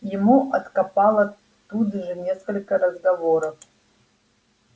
ему откопало тут же несколько разговоров